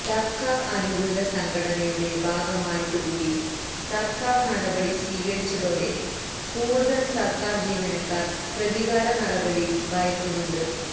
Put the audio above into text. സർക്കാർ അനുകൂല സംഘടനയുടെ ഭാഗമായിട്ടു കൂടി സർക്കാർ നടപടി സ്വീകരിച്ചതോടെ കൂടുതൽ സർക്കാർ ജീവനക്കാർ പ്രതികാര നടപടി ഭയക്കുന്നുണ്ട്